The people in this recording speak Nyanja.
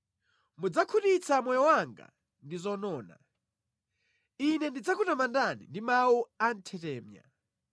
Mudzakhutitsa moyo wanga ndi zonona. Ine ndidzakutamandani ndi mawu anthetemya.